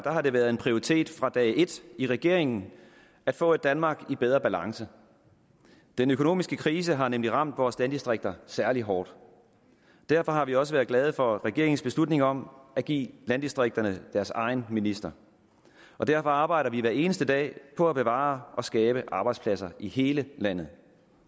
har det været en prioritet fra dag et i regeringen at få et danmark i bedre balance den økonomiske krise har nemlig ramt vores landdistrikter særlig hårdt derfor har vi også været glade for regeringens beslutning om at give landdistrikterne deres egen minister derfor arbejder vi hver eneste dag på at bevare og skabe arbejdspladser i hele landet